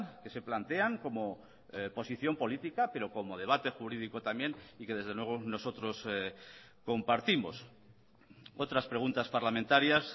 que se plantean como posición política pero como debate jurídico también y que desde luego nosotros compartimos otras preguntas parlamentarias